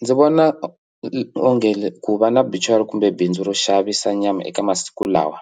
Ndzi vona onge ku va na buchari kumbe bindzu ro xavisa nyama eka masiku lawa